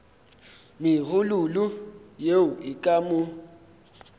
megololo yeo e ka mo